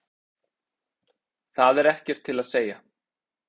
Það er ekkert til að segja.